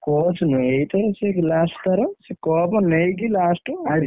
Coach ନୁହେଁ ଏଇଥର ସେ last ଥର ସିଏ cup ନେଇକି last ।